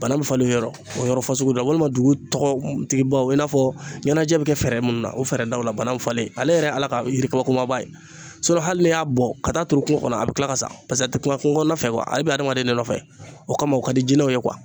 Banan bɛ falen o yɔrɔ o yɔrɔ fasugu la walima dugu tɔgɔtigibaw i n'a fɔ ɲɛnajɛ bɛ kɛ fɛɛrɛ minnu na o fɛɛrɛ daw la bana falen ale yɛrɛ Ala ka yiri ko kumaba ye hali n'i y'a bɔn ka taa turu kungo kɔnɔ a bɛ kila ka sa a tɛ kuma kungokɔnɔna fɛ ale bɛ adamaden nɔfɛ o kama o ka di jinɛw ye